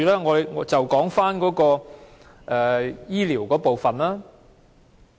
我們就說說醫療的部分。